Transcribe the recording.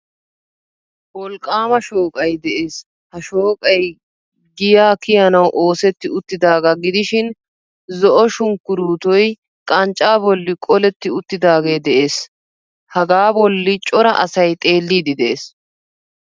Wolqqaama shooqay de'ees. Ha shooqay giya kiyanawu oosetti uttidaaga gidishin zo"o sunkkuruutoy qanccaa bolli qoletti uttidaagee de'ees. Hagaa bolli cora asay xeelliiddi de'ees.